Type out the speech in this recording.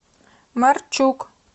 марчук